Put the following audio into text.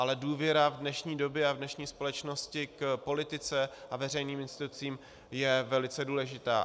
Ale důvěra v dnešní době a v dnešní společnosti k politice a veřejným institucím je velice důležitá.